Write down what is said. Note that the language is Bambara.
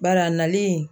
Bari a nalen